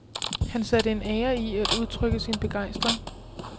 Han satte en ære i at udtrykke sin begejstring.